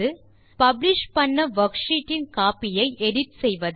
publish செய்த worksheet இன் copy ஐ எடிட் செய்வது